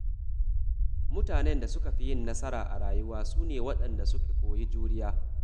Mutanen da suka fi yin nasara a rayuwa su ne waɗanda suka koyi juriya.